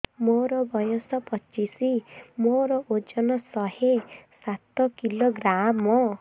ମୋର ବୟସ ପଚିଶି ମୋର ଓଜନ ଶହେ ସାତ କିଲୋଗ୍ରାମ